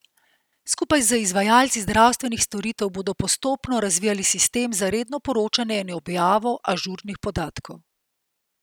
Skupaj z izvajalci zdravstvenih storitev bodo postopno razvijali sistem za redno poročanje in objavo ažurnih podatkov.